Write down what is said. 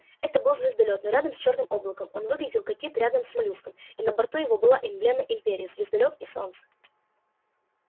это был звездолёт но рядом с чёрным облаком он выглядел как кит рядом с моллюском и на борту его была эмблема империи звездолёт и солнце